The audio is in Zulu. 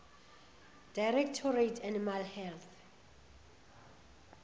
directorate animal health